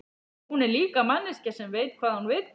Hún er líka manneskja sem veit hvað hún vill.